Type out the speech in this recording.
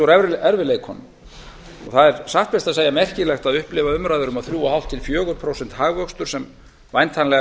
erfiðleikunum og það er satt best að segja merkilegt að upplifa umræður um að þrjú og hálft til fjögur prósent hagvöxtur sem væntanlega